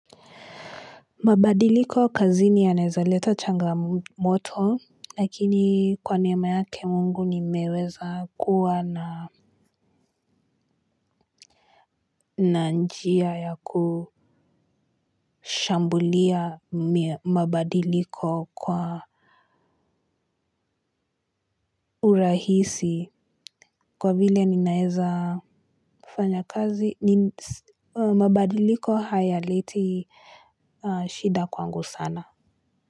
Mabadiliko kazini yanaezaleta changamoto lakini kwa neema yake Mungu nimeweza kuwa na na njia ya kushambulia mabadiliko kwa urahisi kwa vile ninaeza fanya kazi ni mabadiliko hayaleti shida kwangu sana.